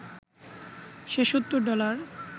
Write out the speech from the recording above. সে ৭০ dollar